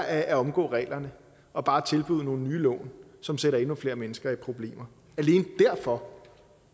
at omgå reglerne og bare tilbyde nogle nye lån som sætter endnu flere mennesker i problemer alene derfor